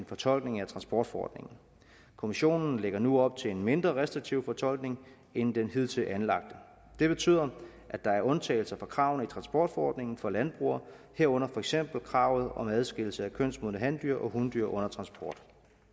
fortolkning af transportforordningen kommissionen lægger nu op til en mindre restriktiv fortolkning end den hidtil anlagte det betyder at der er undtagelser fra kravene i transportforordningen for landbrugere herunder for eksempel kravet om adskillelse af kønsmodne handyr og hundyr under transport